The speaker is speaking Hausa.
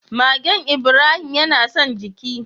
Magen Ibrahim yana son jiki.